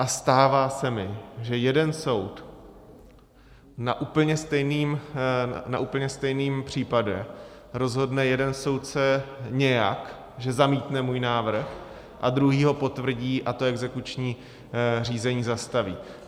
A stává se mi, že jeden soud na úplně stejném případě rozhodne jeden soudce nějak, že zamítne můj návrh, a druhý ho potvrdí a to exekuční řízení zastaví.